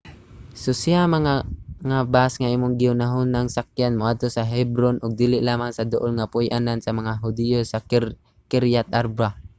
susiha nga ang bus nga imong gihunahunang sakyan moadto sa hebron ug dili lamang sa duol nga puy-anan sa mga hudiyo sa kiriath arba